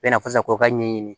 Bɛ na fɔ sisan k'o ka ɲɛɲini